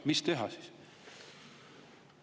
Mis teha siis?